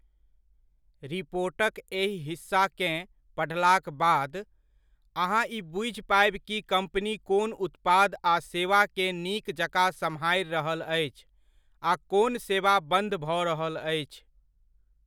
रिपोर्टक एहि हिस्साकेँ पढ़लाक बाद, अहाँ ई बुझि पायब कि कम्पनी कोन उत्पाद आ सेवाकेँ नीक जकाँ सम्हारि रहल अछि आ कोन सेवा बंद भऽ रहल अछि।